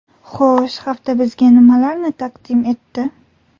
Xo‘sh, hafta bizga nimalarni taqdim etdi?